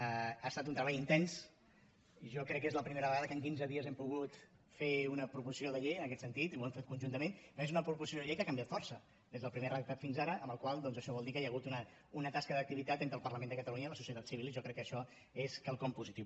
ha estat un treball intens jo crec que és la primera vegada que en quinze dies hem pogut fer una proposició de llei en aquest sentit i ho hem fet conjuntament perquè és una proposició de llei que ha canviat força des del primer redactat fins ara per la qual cosa això vol dir que hi ha hagut una tasca d’activitat entre el parlament de catalunya i la societat civil i jo crec que això és quelcom positiu